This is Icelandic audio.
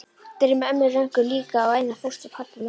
Dreymir ömmu Rönku líka og Einar fóstra, pabba, mömmu